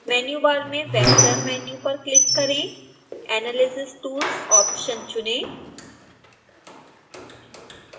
menu bar में vector menu पर click करें analysis tools ऑप्शन चुनें